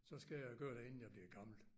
Så skal jeg gøre det inden jeg bliver gammel